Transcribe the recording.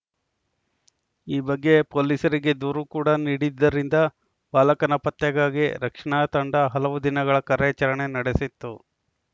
ಈ ಬಗ್ಗೆ ಪೊಲೀಸರಿಗೆ ದೂರು ಕೂಡ ನೀಡಿದ್ದರಿಂದ ಬಾಲಕನ ಪತ್ತೆಗಾಗಿ ರಕ್ಷಣಾ ತಂಡ ಹಲವು ದಿನಗಳ ಕಾರ್ಯಾಚರಣೆ ನಡೆಸಿತ್ತು